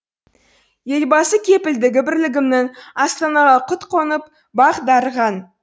елбасы кепілдігі бірлігімнің астанаға құт қонып бақ дарыған